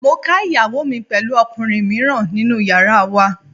Mo ká ìyàwó mi pẹ̀lú ọkùnrin mìíràn nínú yàrá wa.